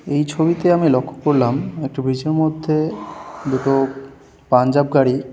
এই ছবিতে আমি লক্ষ্য করলাম একটি ব্রিজ এর মধ্যে দুটো পাঞ্জাব গাড়ি --